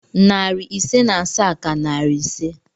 Narị ise na asaa ka narị ise